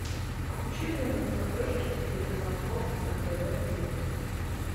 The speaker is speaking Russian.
включи мне на смотрешке телеканал бокс на тв плюс